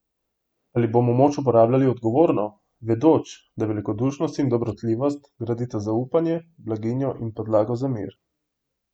Ali bomo moč uporabljali odgovorno, vedoč, da velikodušnost in dobrotljivost gradita zaupanje, blaginjo in podlago za mir?